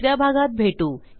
दुस या भागात भेटू